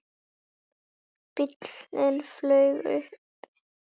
Bíllinn flaut uppi